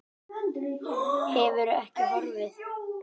Hefur ekki horfið.